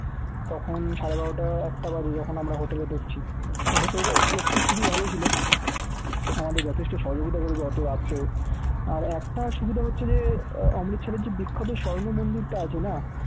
তখন সারে বারটা একটা বাজে যখন আমরা hotel এ ঢুকছি তো hotel এর লোকটি খুবই ভাল ছিল আমাদের যথেষ্ট সহযোগিতা করেছে অত রাত্রেও আর একটা সুবিধা হচ্ছে যে আহ অমৃতসরের যে বিখ্যাত স্বর্ণ মন্দির টা যে আছে না